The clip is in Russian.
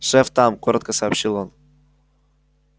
шеф там коротко сообщил он